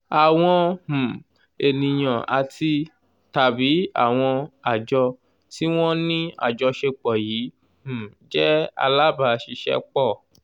àwọn um ènìyàn àti tàbí àwọn àjọ tí wọ́n ní àjọṣepọ̀ yìí um jẹ́ alábàáṣiṣẹ́pọ̀